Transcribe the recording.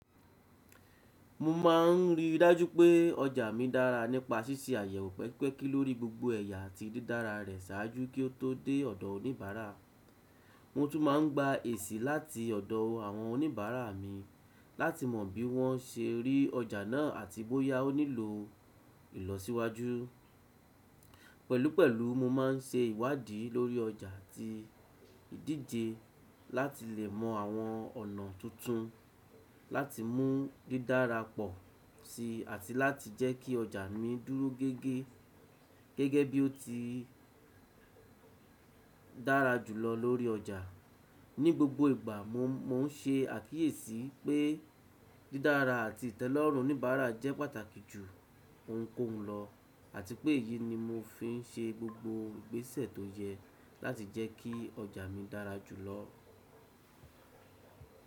Mo máà ń rí i dájú pé ọjà mi dára nípa ṣíṣe àyẹ̀wò pẹpẹkí lórí gbogbo ẹ̀yà àti dídára rẹ̀ ṣáájú kí ó tó dé ọ̀dọ̀ oníbàárà. Mo tún máa ń gba èsì láti ọ̀dọ̀ àwọn oníbàárà mi láti mọ̀ bí wọ́n ṣe rí ọjà náà àti bóyá ó nílò ìlọsíwájú. Pẹ̀lúpẹ̀lú, mo máa ń ṣe ìwádìí lórí ọjà àti ìdíje láti lè mọ àwọn ọ̀nà tuntun láti mú dídára pọ̀ sí i àti láti jẹ́ kí ọjà mi dúró gẹ́gẹ́ gẹ́gẹ́ bí ó ti dára jù lọ lórí ọjà. Ní gbogbo ìgbà, mo ń ṣe àkíyèsí pé dídára àti ìtẹ́lọ́rùn oníbàárà jẹ́ pàtàkì jù ohunkóhun lọ àti pé èyí ni mo fi ń ṣe gbogbo ìgbésẹ̀ tó yẹ láti jẹ́ kí ọjà mi dára jù lọ.